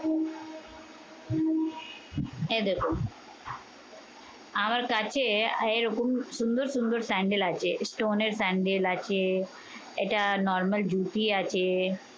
এই দ্যাখো, আমার কাছে এরকম সুন্দর সুন্দর সেন্ডেল আছে। stone এর সেন্ডেল আছে, এটা normal ধুতি আছে।